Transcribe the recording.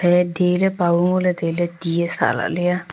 iya dele paw ngo ley tow ley tia sak lah ley aa.